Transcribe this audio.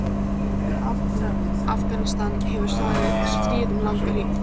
Í Afganistan hefur staðið stríð um langa hríð.